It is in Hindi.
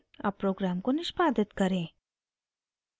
अब program को निष्पादित करें